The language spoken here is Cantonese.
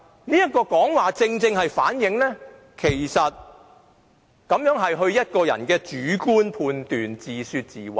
這正好反映這是她個人的主觀判斷，自說自話。